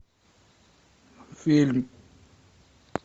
фильм